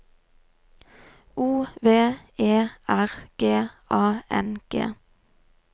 O V E R G A N G